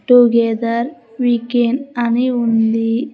Together we can అని ఉంది.